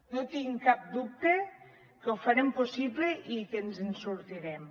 no tinc cap dubte que ho farem possible i que ens en sortirem